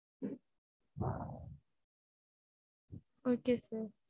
okay sir